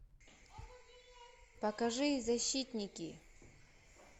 покажи защитники